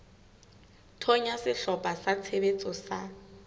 thonya sehlopha sa tshebetso sa